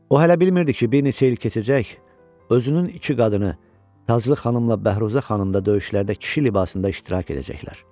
O hələ bilmirdi ki, bir neçə il keçəcək, özünün iki qadını, Taclı xanımla Bəhruzə xanım da döyüşlərdə kişi libasında iştirak edəcəklər.